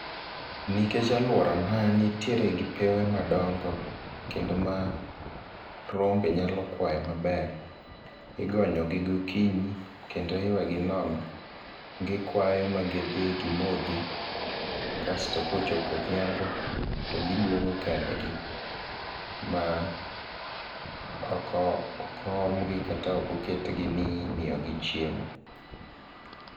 Nikech alworana nitiere gi pewe madongo, kendo ma rombe nyalo kwaye maber. Igonyo gi gokinyi, kendo iweyo gi nono, gi kwayo ma gidhi gimodhi. Kasto kochopo odhiambo, to giduogo kendgi. Ma oko ok oomgi, kata ok oketgi ni imiyogi chiemo.